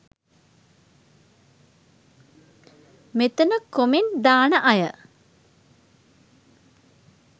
මෙතන කොමෙන්ට් දාන අය